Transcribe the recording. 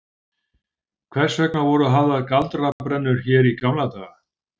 Hvers vegna voru hafðar galdrabrennur hér í gamla daga?